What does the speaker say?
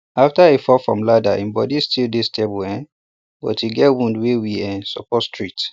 after he fall from ladder he body still dey stable um but e get wound wey we um suppose treat